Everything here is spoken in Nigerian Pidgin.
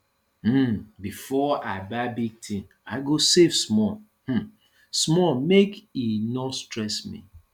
um before i buy big thing i go save small um small make e no stress me